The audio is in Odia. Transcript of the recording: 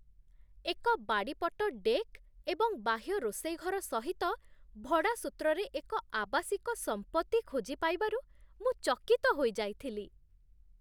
ଏକ ବାଡ଼ିପଟ ଡେକ୍ ଏବଂ ବାହ୍ୟ ରୋଷେଇ ଘର ସହିତ ଭଡ଼ା ସୂତ୍ରରେ ଏକ ଆବାସିକ ସମ୍ପତ୍ତି ଖୋଜି ପାଇବାରୁ ମୁଁ ଚକିତ ହୋଇଯାଇଥିଲି।